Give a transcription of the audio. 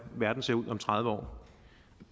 verden ser ud om tredive år